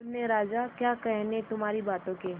मुन्ने राजा क्या कहने तुम्हारी बातों के